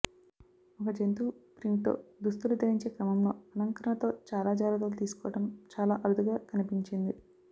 ఒక జంతువు ప్రింట్తో దుస్తులు ధరించే క్రమంలో అలంకరణతో చాలా జాగ్రత్తలు తీసుకోవడం చాలా అరుదుగా కనిపించింది